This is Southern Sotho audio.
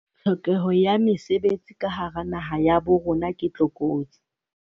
Tlhokeho ya mesebetsi ka hara naha ya bo rona ke tlokotsi.